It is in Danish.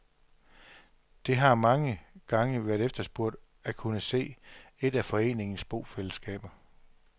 Det har mange gange været efterspurgt at kunne se et af foreningens bofællesskaber.